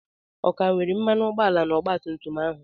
Ọ ka nwere mmanụ ụgbọala na ọgba tum tum ahụ?